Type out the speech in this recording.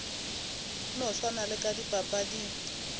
no swana le ka dipapading